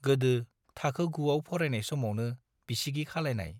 गोदो थाखो गुआव फरायनाय समावनो बिसिगि खालायनाय।